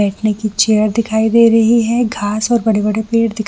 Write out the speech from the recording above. बैठने की चेयर दिखाई दे रही है घास और बड़े-बड़े पेड़ दिखाई --